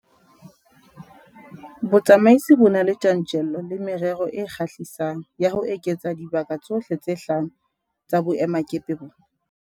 Botsamaisi bo na le tjantjello le merero e kgahlisang ya ho eketsa dibaka tsohle tse hlano tsa boemakepe bona.